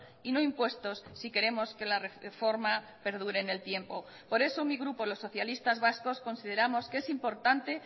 y no impuestos si queremos que la reforma perdure en el tiempo por eso mi grupo los socialistas vascos consideramos que es importante